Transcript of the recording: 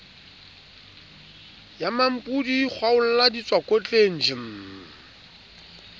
ya mmampodi kgwaolla ditswakotleng jm